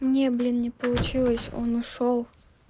не блин не получилось он ушёл